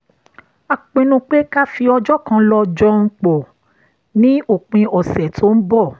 a pinnu pé ká fi ọjọ́ kan lọ jọun pọ̀ ní òpin ọ̀sẹ̀ tó ń bọ̀